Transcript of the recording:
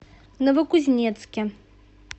новокузнецке